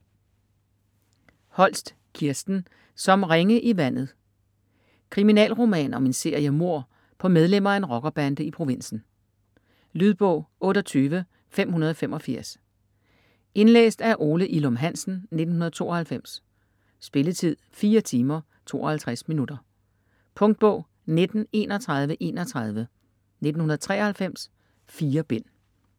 Holst, Kirsten: Som ringe i vandet Kriminalroman om en serie mord på medlemmer af en rockerbande i provinsen. Lydbog 28585 Indlæst af Ole Ilum Hansen, 1992. Spilletid: 4 timer, 52 minutter. Punktbog 193131 1993. 4 bind.